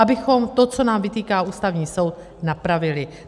Abychom to, co nám vytýká Ústavní soud, napravili.